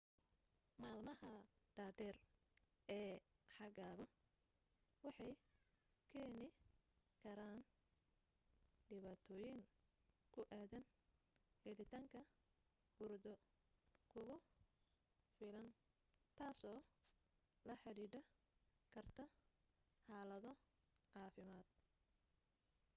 maalmaha dhaadheer ee xagaagu waxay keeni karaan dhibaatooyin ku aadan helitaanka hurdo kugu filan tasoo la xidhiiidhi karta xaalado caafimaad